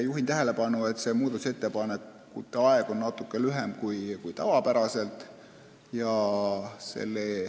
Juhin tähelepanu, et muudatusettepanekute esitamise aeg on natuke lühem kui tavapäraselt.